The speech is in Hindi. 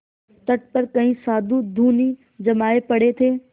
तट पर कई साधु धूनी जमाये पड़े थे